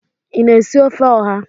Ị na-esi ofe oha?